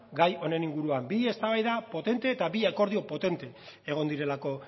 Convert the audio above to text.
gai honen inguruan bi eztabaida potente eta bi akordio potente egon direlako